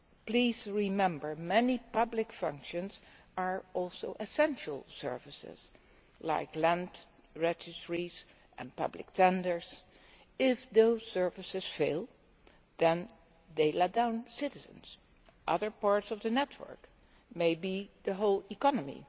Please remember that many public functions are also essential services, like land registries and public tenders. If those services fail, they let down citizens and other parts of the network, and maybe the whole economy.